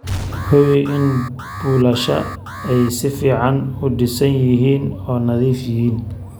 Hubi in buulasha ay si fiican u dhisan yihiin oo nadiif yihiin.